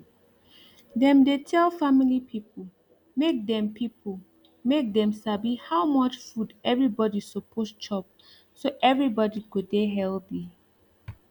dem dey tell family people make dem people make dem sabi how much food everybody suppose chop so everybody go dey healthy